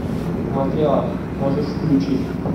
матриарх можешь включить